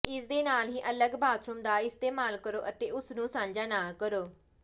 ਇਸ ਦੇ ਨਾਲ ਹੀ ਅਲੱਗ ਬਾਥਰੂਮ ਦਾ ਇਸਤੇਮਾਲ ਕਰੋ ਅਤੇ ਉਸ ਨੂੰ ਸਾਂਝਾ ਨਾ ਕਰੋ